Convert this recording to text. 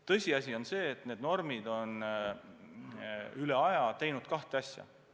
Tõsiasi on see, et need normid on alati silmas pidanud kahte asja.